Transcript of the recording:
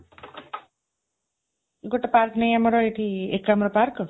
ଗୋଟେ park ନାହିଁ ଆମର? ଏଠି, ଏକାମ୍ର park।